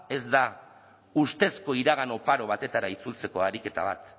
ez da ustezko iragan oparo batetara itzultzeko ariketa bat